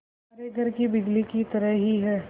हमारे घर की बिजली की तरह ही है